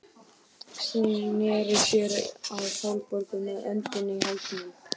Sneri sér að Sólborgu með öndina í hálsinum.